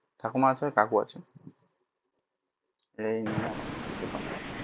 ঠাকমা আছে কাকু আছে